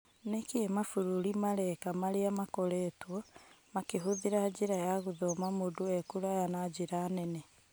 Nĩkĩĩ mabũrũri mareka marĩa makoretwo makĩhũthĩra njĩra ya gũthoma mũndũ ekũraya na njĩra nene?